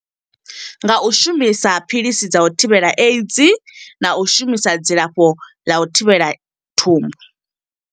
Nga u shumisa phiḽisi dza u thivhela AIDS, na u shumisa dzi lafho ḽa u thivhela thumbu.